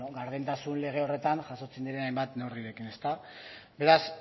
gardentasun lege horretan jasotzen diren hainbat neurrirekin beraz